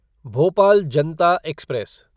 Bhopal Janata express